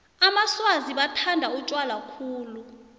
amaswazi bathanda utjwala khulu